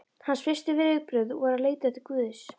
Hans fyrstu viðbrögð voru að leita til Guðs.